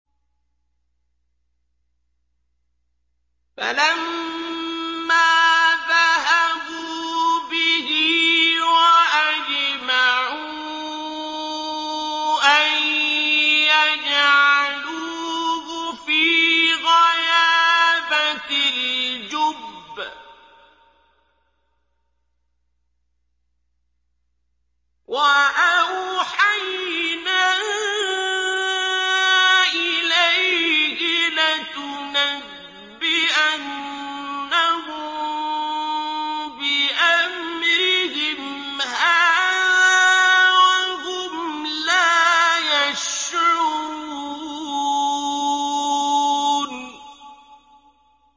فَلَمَّا ذَهَبُوا بِهِ وَأَجْمَعُوا أَن يَجْعَلُوهُ فِي غَيَابَتِ الْجُبِّ ۚ وَأَوْحَيْنَا إِلَيْهِ لَتُنَبِّئَنَّهُم بِأَمْرِهِمْ هَٰذَا وَهُمْ لَا يَشْعُرُونَ